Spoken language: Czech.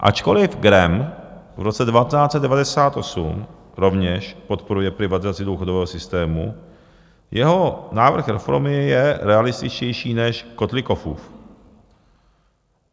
Ačkoli Gramm v roce 1998 rovněž podporuje privatizaci důchodového systému, jeho návrh reformy je realističtější než Kotlikoffův.